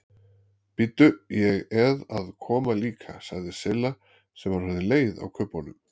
Bíddu, ég eð að koma líka sagði Silla sem var orðin leið á kubbunum.